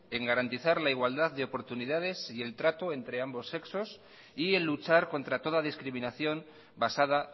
en garantizar la igualdad de oportunidades y el trato entre ambos sexos y en luchar contra toda discriminación basada